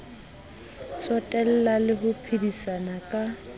tsotella le ho phedisana ka